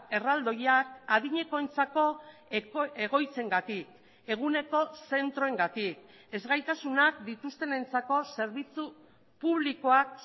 erraldoiak adinekoentzako egoitzengatik eguneko zentroengatik ezgaitasunak dituztenentzako zerbitzu publikoak